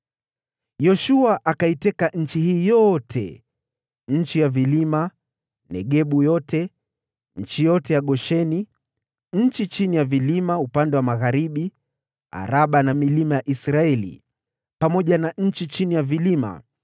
Yoshua akaiteka nchi hii yote: nchi ya vilima, Negebu yote, eneo yote ya Gosheni, shefela ya upande wa magharibi, Araba na milima ya Israeli pamoja na shefela zao,